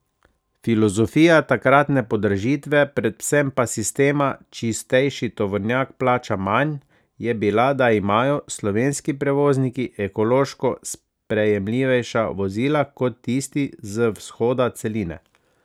Filozofija takratne podražitve, predvsem pa sistema čistejši tovornjak plača manj, je bila, da imajo slovenski prevozniki ekološko sprejemljivejša vozila kot tisti z vzhoda celine.